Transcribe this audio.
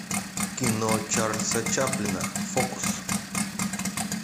кино чарльза чаплина фокус